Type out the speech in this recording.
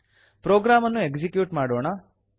program ಅನ್ನು execute ಮಾಡೋಣ